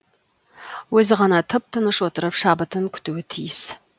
өзі ғана тып тыныш отырып шабытын күтуі тиіс